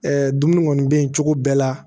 dumuni kɔni bɛ yen cogo bɛɛ la